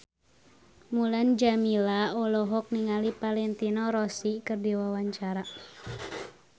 Mulan Jameela olohok ningali Valentino Rossi keur diwawancara